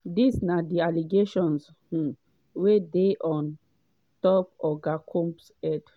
dis na di allegations um wey dey on top oga combs head.